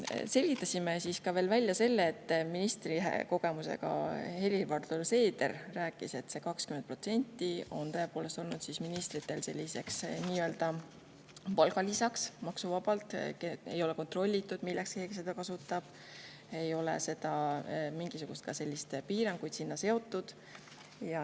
Selgitasime välja veel selle: ministrikogemusega Helir-Valdor Seeder rääkis, et see 20% on tõepoolest olnud ministritel maksuvaba palgalisa ning ei ole kontrollitud, milleks keegi seda kasutab, ega ole sellele mingisugust piirangut seatud.